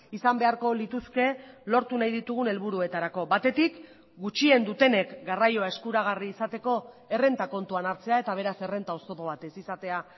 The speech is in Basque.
izan beharko lituzke lortu nahi ditugun helburuetarako batetik gutxien dutenek garraioa eskuragarri izateko errenta kontuan hartzea eta beraz errenta oztopo bat ez izatea